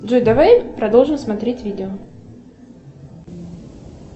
джой давай продолжим смотреть видео